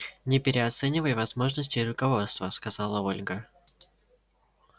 не переоценивай возможностей руководства сказала ольга